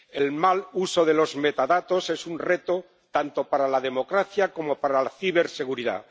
El mal uso de los metadatos es un reto tanto para la democracia como para la ciberseguridad.